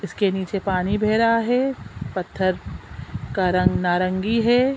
इसके नीचे पानी बह रहा हैं पत्थर का रंग नारंगी हैं।